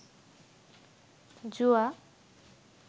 জুয়া